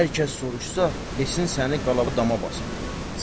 Hər kəs soruşsa, desin səni qalada dama basıbdır.